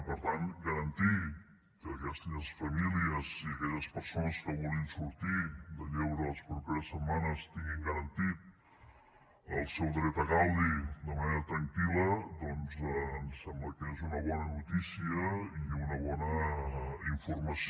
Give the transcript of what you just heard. i per tant garantir que aquelles famílies i aquelles persones que vulguin sortir de lleure les properes setmanes tinguin garantit el seu dret a gaudi de manera tranquil·la doncs ens sembla que és una bona notícia i una bona informació